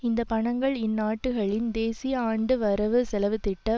இந்த பணங்கள் இந்நாடுகளின் தேசிய ஆண்டு வரவு செலவுத்திட்ட